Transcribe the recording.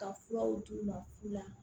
Ka furaw d'u ma k'u la